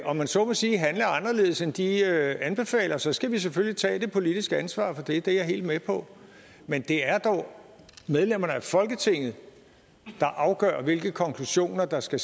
om man så må sige handle anderledes end de anbefaler så skal vi selvfølgelig tage det politiske ansvar for det det er jeg helt med på men det er dog medlemmerne af folketinget der afgør hvilke konklusioner der skal